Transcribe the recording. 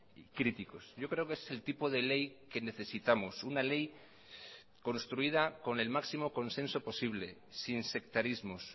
y críticos yo creo que es el tipo de ley que necesitamos una ley construida con el máximo consenso posible sin sectarismos